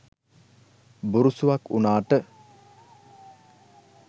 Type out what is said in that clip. බුරුසුවක් උනාට